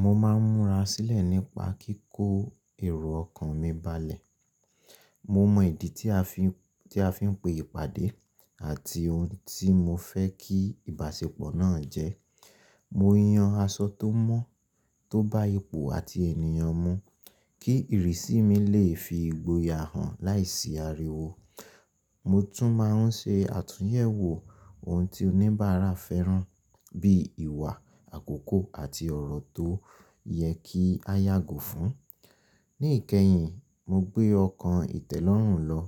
Mo máa ń múra sílẹ̀ nípa kíkó èrò ọkàn mi balẹ̀. Mo mọ ìdí tí a fi ń, tí a fi ń pe ìpàdé àti ohun tí mo fẹ́ kí ìbásepọ̀ náà jẹ́. Mo yan aṣọ tó mọ́, tó bá ipò àti ènìyàn mu kí ìrísí mi lè fi igboyà hàn láìsí ariwo. Mo tún máa ń ṣe àtúnyẹ̀wò ohun tí oníbàárà fẹ́ràn bí ìwà àkókò àti ọ̀rọ̀ tó yẹ kí a yàgò fún. Ní ìkẹyìn, mo gbé ọkàn ìtẹ́lọ́rùn lọ.